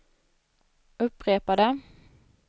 upprepade